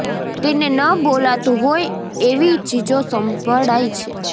તેને ન બોલાતું હોય એવી ચીજો સંભળાય છે